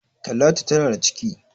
Talatu tana da ciki